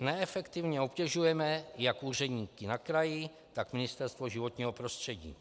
neefektivně obtěžujeme jak úředníky na kraji, tak Ministerstvo životního prostředí.